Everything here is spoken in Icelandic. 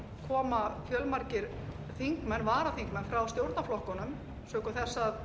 koma fjölmargir varaþingmenn frá stjórnarflokkunum sökum þess að